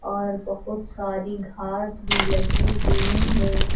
और बहुत सारी घास भी लगी हुई हैं।